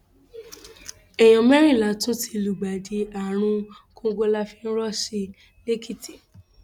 èèyàn mẹrìnlá tún ti lùgbàdì àrùn kòǹgóláfàírọọsì lẹkìtì